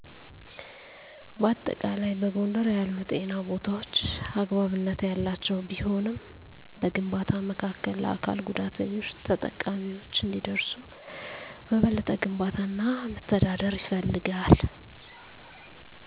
በአጠቃላይ፣ በጎንደር ያሉ ጤና ቦታዎች አግባብነት ያላቸው ቢሆንም፣ በግንባታ መካከል ለአካል ጉዳተኞች ተጠቃሚዎች እንዲደርሱ በበለጠ ግንባታ እና መተዳደር ይፈልጋል።